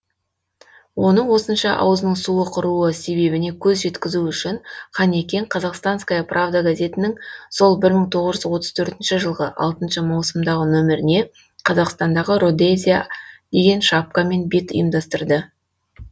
оның осынша аузының суы құруы себебіне көз жеткізу үшін қанекең казахстанская правда газетінің сол мың тоғыз жүз отыз төртінші жылғы алтыншы маусымдағы нөміріне қазақстандағы родезия деген шапкамен бет ұйымдастырды